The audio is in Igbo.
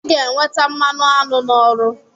I ga-enweta mmanụ aṅụ n'ọrụ.